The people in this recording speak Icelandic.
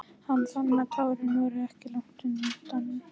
Hann fann að tárin voru ekki langt undan.